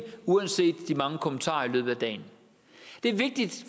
uanset de mange kommentarer i løbet af dagen det er vigtigt